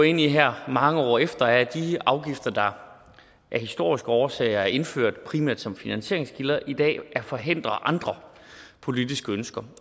ind i her mange år efter er at de afgifter der af historiske årsager er indført primært som finansieringskilder i dag forhindrer andre politiske ønsker